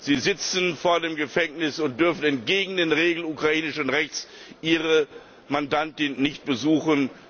Sie sitzen vor dem Gefängnis und dürfen entgegen den Regeln des ukrainischen Rechts ihre Mandantin nicht besuchen.